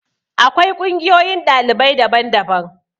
Akwai ƙungiyoyin ɗalibai daban daban.